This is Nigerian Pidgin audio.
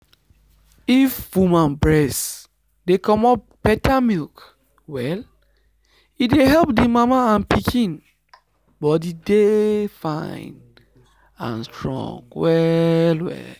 if woman breast dey comot better milk well e dey help the mama and pikin body dey fine and strong well well.